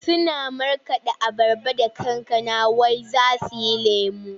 Suna markaɗa ayaba da kankana wai za su yi lemo.